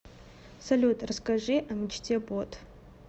салют расскажи о мечте бот